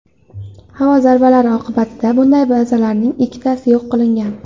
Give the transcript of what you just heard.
Havo zarbalari oqibatida bunday bazalarning ikkitasi yo‘q qilingan.